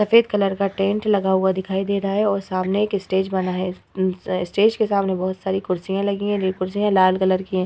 सफेद कलर का टेंट लगा हुआ दिखाई दे रहा है और सामने एक स्टेज बना है। अम्म अ स्टेज के सामने बहोत सारी कुर्सियाँ लगी हैं। ये कुर्सियाँ लाल कलर की हैं।